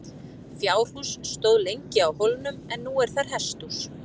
Fjárhús stóð lengi á hólnum en nú er þar hesthús.